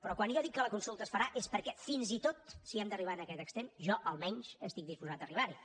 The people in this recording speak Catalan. però quan jo dic que la consulta es farà és perquè fins i tot si hem d’arribar a aquest extrem jo almenys estic disposat a arribarhi